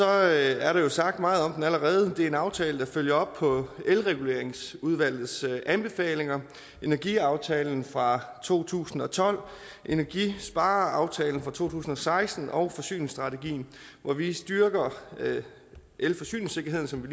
er er der jo sagt meget om det allerede det er en aftale der følger op på elreguleringsudvalgets anbefalinger energiaftalen fra to tusind og tolv energispareaftalen fra to tusind og seksten og forsyningsstrategien hvor vi styrker elforsyningssikkerheden som vi